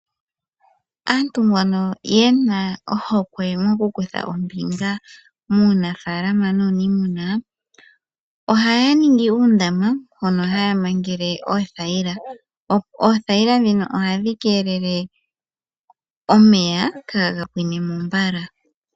Aantu mbono yena ohokwe mokukutha ombinga muunafaalama nuunimuna, oha ya ningi uundama hono haya mangele oothayila. Oothayila dhino ohadhi kelele omeya kaga pwinemo mbala.